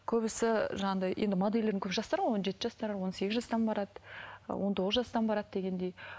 көбісі жаңағыдай енді моделдердің көбісі жастар ғой он жеті жастар он сегіз жастан барады он тоғыз жастан барады дегендей